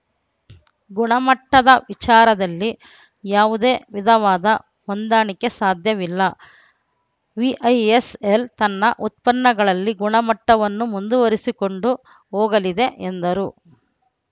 ಗುಣಮಟ್ಟದ ವಿಚಾರದಲ್ಲಿ ಯಾವುದೇ ವಿಧವಾದ ಹೊಂದಾಣಿಕೆ ಸಾಧ್ಯವಿಲ್ಲ ವಿಐಎಸ್‌ಎಲ್‌ ತನ್ನ ಉತ್ಪನ್ನಗಳಲ್ಲಿ ಗುಣಮಟ್ಟವನ್ನು ಮುಂದುವರಿಸಿಕೊಂಡು ಹೋಗಲಿದೆ ಎಂದರು